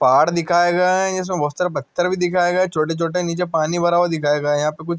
पहाड़ दिखाई गए ये इसमे बोहोत सार छोटे छोटे निचे पनि भर हुवा दिखाई गया है ।